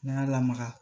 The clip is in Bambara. N'an y'a lamaga